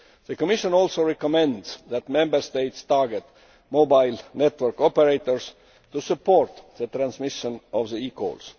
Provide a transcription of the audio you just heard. The Commission also recommends that Member States target mobile network operators to support the transmission of eCalls.